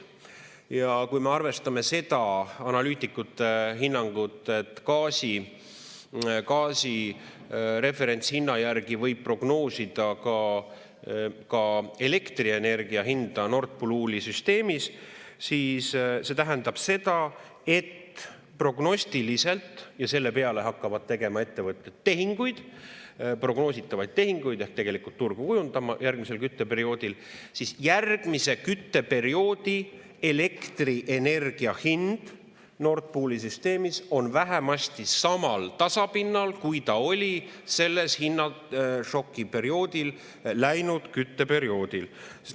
Ja kui me arvestame seda analüütikute hinnangut, et gaasi referentshinna järgi võib prognoosida ka elektrienergia hinda Nord Pooli süsteemis, siis see tähendab seda, et prognostiliselt – ja selle peale hakkavad tegema ettevõtjad tehinguid, prognoositavaid tehinguid ehk tegelikult turgu kujundama järgmisel kütteperioodil – järgmise kütteperioodi elektrienergia hind Nord Pooli süsteemis on vähemasti samal tasapinnal, kui ta oli selle hinnašoki perioodi ajal läinud kütteperioodil.